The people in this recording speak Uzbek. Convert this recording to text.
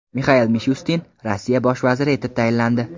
Mixail Mishustin Rossiya bosh vaziri etib tayinlandi.